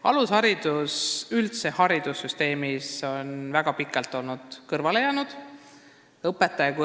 Alusharidus on üldse haridussüsteemis väga pikalt kõrvale jäänud.